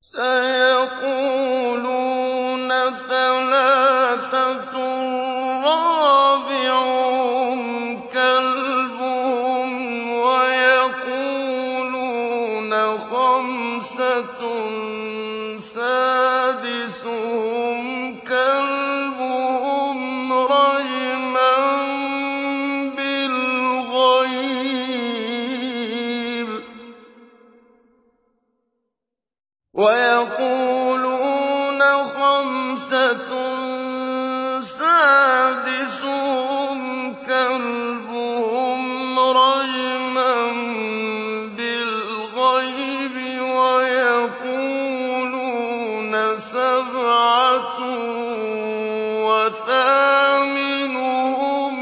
سَيَقُولُونَ ثَلَاثَةٌ رَّابِعُهُمْ كَلْبُهُمْ وَيَقُولُونَ خَمْسَةٌ سَادِسُهُمْ كَلْبُهُمْ رَجْمًا بِالْغَيْبِ ۖ وَيَقُولُونَ سَبْعَةٌ وَثَامِنُهُمْ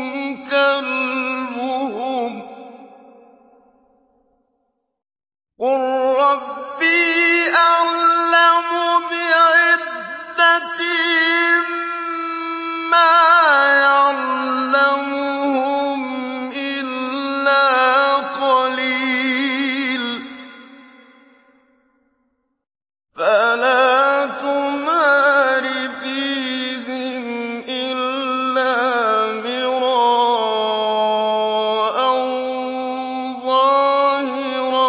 كَلْبُهُمْ ۚ قُل رَّبِّي أَعْلَمُ بِعِدَّتِهِم مَّا يَعْلَمُهُمْ إِلَّا قَلِيلٌ ۗ فَلَا تُمَارِ فِيهِمْ إِلَّا مِرَاءً ظَاهِرًا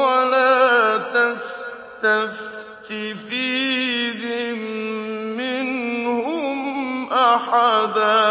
وَلَا تَسْتَفْتِ فِيهِم مِّنْهُمْ أَحَدًا